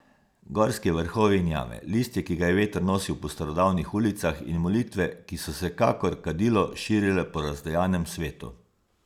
Gorski vrhovi in jame, listje, ki ga je veter nosil po starodavnih ulicah, in molitve, ki so se kakor kadilo širile po razdejanem svetu.